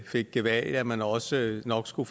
fik gevalia men også nok skulle